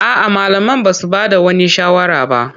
A'a, malaman ba su ba da wani shawara ba.